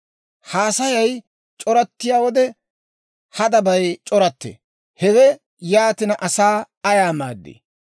Haasayay c'orattiyaa wode, hadabay c'orattee; hewe yaatina, asaa ayaa maaddii?